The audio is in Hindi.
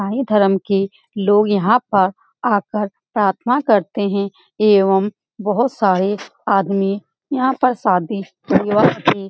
इसाई धर्म के लोग यहाँ पर आकर प्रार्थना करते है। एवम बोहोत सारे आदमी यहाँ पर शादी विवाह की --